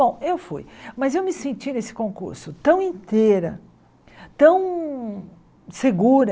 Bom, eu fui, mas eu me senti nesse concurso tão inteira, tão segura,